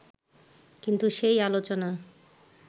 কিন্তু সেই আলোচনা